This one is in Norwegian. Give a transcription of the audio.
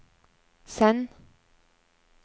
send